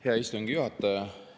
Hea istungi juhataja!